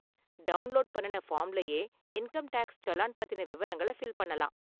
Download பண்ணுன ஃபார்ம்லயே income tax challan பத்தின விவரங்களை ஃபில் பண்ணலாம்.